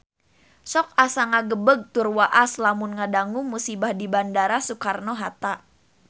Sok asa ngagebeg tur waas lamun ngadangu musibah di Bandara Soekarno Hatta